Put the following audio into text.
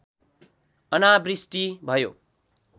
अनावृष्टि भयो